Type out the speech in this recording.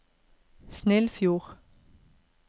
Snillfjord